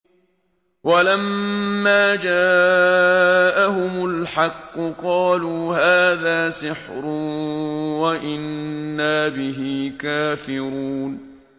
وَلَمَّا جَاءَهُمُ الْحَقُّ قَالُوا هَٰذَا سِحْرٌ وَإِنَّا بِهِ كَافِرُونَ